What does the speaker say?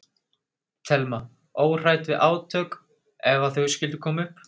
Telma: Óhrædd við átök ef að þau skyldu koma upp?